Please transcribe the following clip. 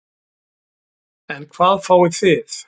En hvað fáið þið?